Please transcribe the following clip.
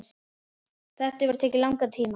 Þetta hefur tekið langan tíma.